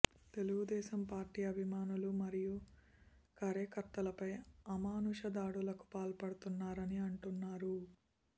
Telugu Desam party అభిమానులు మరియు కార్యకర్తలపై అమానుష దాడులకు పాల్పడుతున్నారని అంటున్నారు